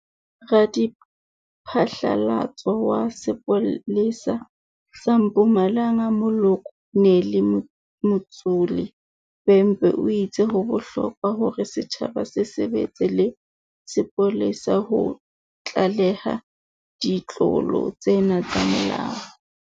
Radiphatlalatso wa sepole sa sa Mpumalanga Mokolo nele Mtsholi Bhembe o itse ho bohlokwa hore setjhaba se sebetse le sepolesa ho tlaleha ditlolo tsena tsa molao.